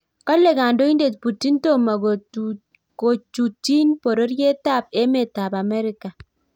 Kale kandoindet Putin tomo kojutjin boriet ab emet ab America.